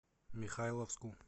михайловску